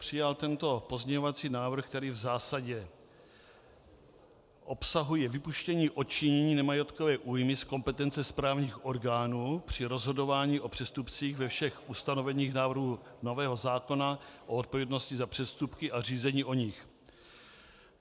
Přijal tento pozměňovací návrh, který v zásadě obsahuje vypuštění odčinění nemajetkové újmy z kompetence správních orgánů při rozhodování o přestupcích ve všech ustanoveních návrhu nového zákona o odpovědnosti za přestupky a řízení o nich.